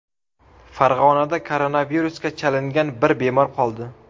Farg‘onada koronavirusga chalingan bir bemor qoldi.